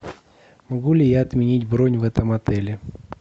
могу ли я отменить бронь в этом отеле